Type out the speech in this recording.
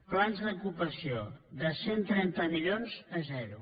plans d’ocupació de cent i trenta milions a zero